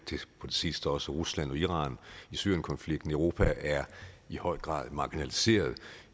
sidste også rusland og iran i syrienkonflikten europa er i høj grad marginaliseret